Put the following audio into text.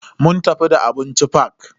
Mun tafi da abinci fak.